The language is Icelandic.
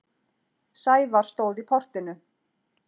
Sævar stóð í portinu.